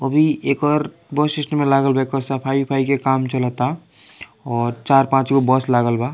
अभी एकर bus stand में लागल बा एकर सफाई-उफ़ाई के काम चलता और चार-पाँच गो बस लागल बा।